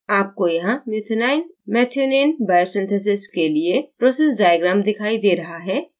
आपको यहाँ methionine biosynthesis के लिए process diagram दिखाई दे रहा है